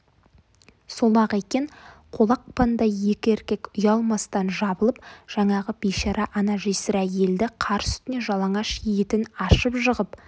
сол-ақ екен қолақпандай екі еркек ұялмастан жабылып жаңағы бейшара ана жесір әйелді қар үстіне жалаңаш етін ашып жығып